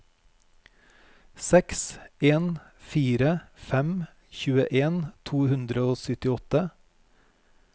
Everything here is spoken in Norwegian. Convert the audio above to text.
seks en fire fem tjueen to hundre og syttiåtte